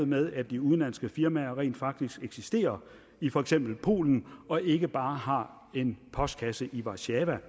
med at de udenlandske firmaer rent faktisk eksisterer i for eksempel polen og ikke bare har en postkasse i warszava